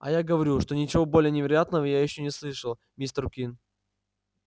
а я говорю что ничего более невероятного я ещё не слышал мистер куинн